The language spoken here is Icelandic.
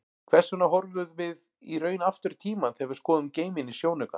Hvers vegna horfum við í raun aftur í tímann þegar við skoðum geiminn í sjónauka?